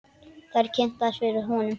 Þær eru kynntar fyrir honum.